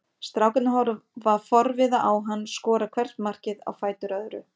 Strákarnir horfa forviða á hann skora hvert markið á fætur öðru.